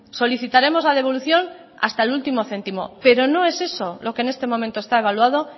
solicitaremos la devolución hasta el último céntimo pero no es eso lo que en este momento está evaluado